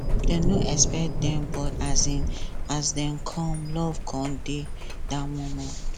dem no expect dem but um as dem come love come dey dat moment